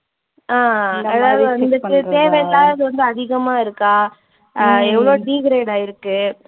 ஆஹ் அதாவது வந்துட்டு தேவை இல்லாதது வந்து அதிகமா இருக்கா அஹ் எவ்ளோ degrade ஆயிருக்கு